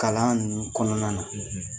Kalan ninnu kɔnɔna na